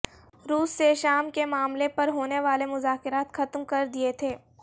روس سے شام کے معاملے پر ہونے والے مذاکرات ختم کر دیے تھے